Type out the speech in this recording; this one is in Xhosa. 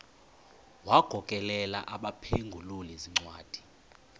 wagokelela abaphengululi zincwadi